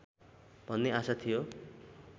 भन्ने आशा थियो